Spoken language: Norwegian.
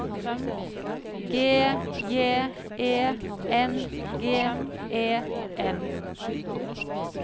G J E N G E N